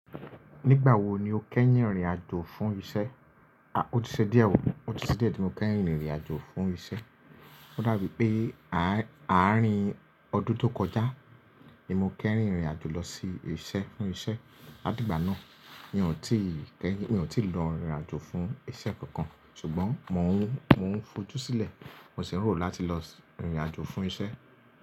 Nígbà wo ni o kẹ́yin rin irinàjò fún iṣẹ́? A, ó ti ṣẹ diẹ̀ ò, ó ti ṣe diẹ̀ tí mo kẹ́yin rin irinàjò fún iṣẹ́. Ó dàbí pé àárín ọdún ti ó kọjá ni mo kẹ́yin rin irinàjò lọ sí ibi iṣẹ́, fún iṣẹ́. Látì igbà náà, mi ò tí keyin, mi ò tíì lọ rìn irìnajò fún iṣẹ́ kankan. Ṣùgbọ́n mò ń, mò ń fojú sílẹ̀, mò ṣi n ro láti lọ rìn irìnàjò fún iṣẹ́.